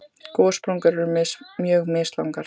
Gossprungur eru mjög mislangar.